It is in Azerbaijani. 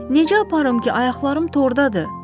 Necə aparım ki, ayaqlarım tordadır?